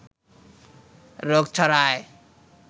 রোগ ছড়ায়।